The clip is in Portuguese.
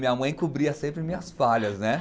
Minha mãe cobria sempre minhas falhas, né?